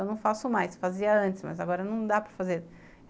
Eu não faço mais, fazia antes, mas agora não dá para fazer.